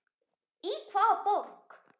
Í hvaða borg?